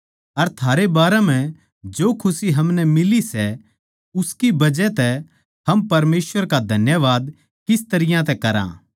अर थारे बारे म्ह जो खुशी हमनै मिली से उसकी बजह तै हम परमेसवर का धन्यवाद किस तरियां तै करा